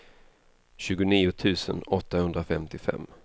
tjugonio tusen åttahundrafemtiofem